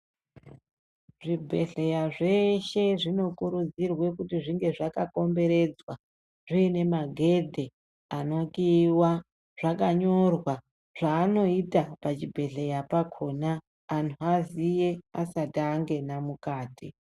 Zvibhedhleya zveshe zvinokuridzirwa kuti zvinge zvakakomberedzwa zviine magedhe anokhiyiwa zvakanyorwa zvakanyorwa zvaanoita pachibhedhleya pakhona antu aziye asati angena mukati.